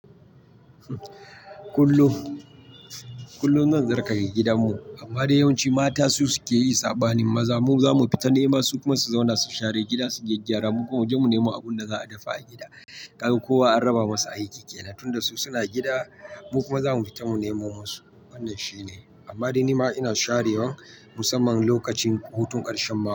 Kullum, kullum zan tsarkake gidanmu, amma dai yawanci mata su suke yi saɓanin maza. Mu zamu fita nema su kuma su zauna su share gida, su gyaggyara. Mu kuma muje mu nemo abunda za'a dafa a gida. Kaga kowa an raba masa aiki kenan, tunda su suna gida, mu kuma zamu fita mu nemo musu. Wannan shine. Amma dai nima ina sharewa musamman lokacin hutun ƙarshen mako.